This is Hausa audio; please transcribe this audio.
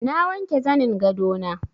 Na wanke zanin gado na.